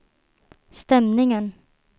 stämningen